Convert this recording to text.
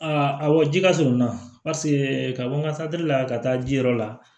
awɔ ji ka surunna ka bɔ n ka la ka taa ji yɔrɔ la